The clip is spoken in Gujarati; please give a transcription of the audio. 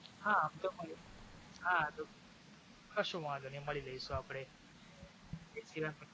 હા આમ તો માળીયે છી કશો વાંધો નહિ મળી લેશુ આપડે.